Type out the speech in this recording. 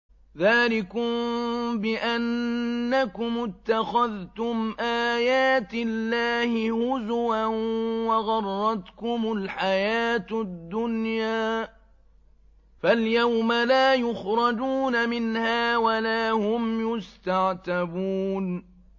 ذَٰلِكُم بِأَنَّكُمُ اتَّخَذْتُمْ آيَاتِ اللَّهِ هُزُوًا وَغَرَّتْكُمُ الْحَيَاةُ الدُّنْيَا ۚ فَالْيَوْمَ لَا يُخْرَجُونَ مِنْهَا وَلَا هُمْ يُسْتَعْتَبُونَ